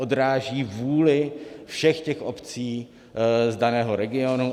Odráží vůli všech těch obcí z daného regionu.